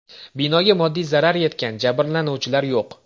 Binoga moddiy zarar yetgan, jabrlanuvchilar yo‘q.